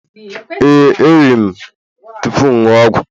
Ee, eri nri tupu m aṅụ ọgwụ